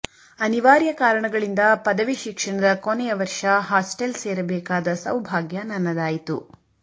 ಅನಿವಾರ್ಯ ಕಾರಣಗಳಿಂದ ಪದವಿ ಶಿಕ್ಷಣದ ಕೊನೆಯ ವರ್ಷ ಹಾಸ್ಟೆಲ್ ಸೇರಬೇಕಾದ ಸೌಭಾಗ್ಯ ನನ್ನದಾಯಿತು